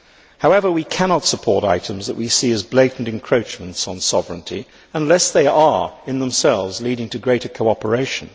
However, we cannot support items that we see as blatant encroachments on sovereignty, unless they are in themselves leading to greater cooperation.